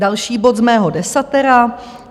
Další bod z mého desatera.